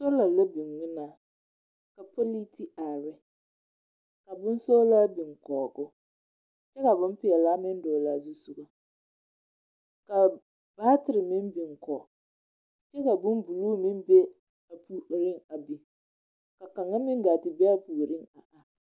Soola la biŋ ŋmenaa, ka pͻlee te are ne, ka bonsͻgelaa biŋ kͻge o kyԑ ka bompeԑlaa meŋ dͻgele a zusogͻ. Kaa batere meŋ biŋ kͻge kyԑ ka bombuluu meŋ be a puoriŋ a biŋ. Ka kaŋa meŋ gaa te be a puoriŋ a are.